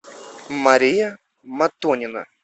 мария матонина